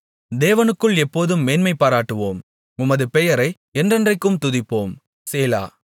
தேவனுக்குள் எப்போதும் மேன்மைபாராட்டுவோம் உமது பெயரை என்றென்றைக்கும் துதிப்போம் சேலா